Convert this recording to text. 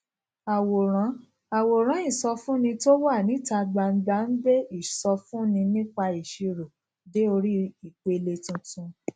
àwòrán àwòrán ìsọfúnni tó wà níta gbangba ń gbé ìsọfúnni nípa ìṣirò dé orí ìpele tuntun